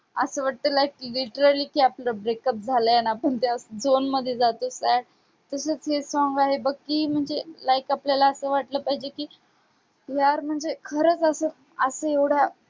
असं वाटतं like literally की आपलं breakup झालंय अन आपण त्या zone मध्ये जातोय काय? तसंच हे song आहे बघ की म्हणजे like आपल्याला असं वाटलं पाहिजे की यार म्हणजे खरंच असं असं एवढ्या